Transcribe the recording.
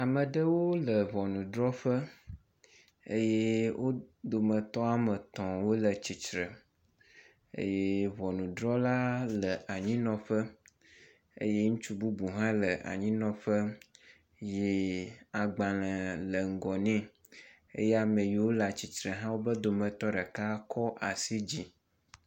Ame ɖewo le ŋɔnudrɔƒe eye wo dometɔ woame etɔ̃ wole tsitre eye ŋɔnudrɔla le anyinɔƒe eye ŋutsu bubu hã le anyinɔƒe ye agbalẽ le ŋgɔ nɛ eye ame yewo le atsitre hã, wobe dometɔ ɖeka kɔ asi dzi.